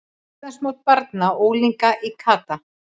Íslandsmót barna og unglinga í kata